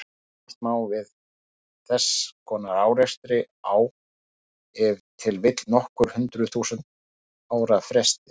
Búast má við þess konar árekstri á ef til vill nokkur hundruð þúsund ára fresti.